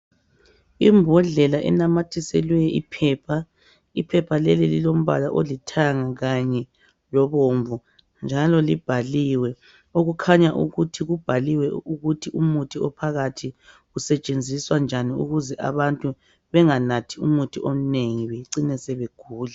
Imbodlela enamathiselwe iphepha. Iphepha leli lilombala olithanga kanye lobomvu, njalo libhaliwe. Okukhanya ukuthi kubhaliwe ukuthi umuthi ophakarhi, usetshenziswa njani. Ukuze abantu benganathi umuthi ommengi. Bacine sebegula.